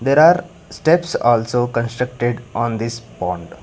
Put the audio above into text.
there are steps also constructed on this pond.